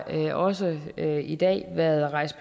der jo også her i dag været rejst